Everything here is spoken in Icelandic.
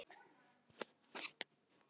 Ég fer núna, segi ég.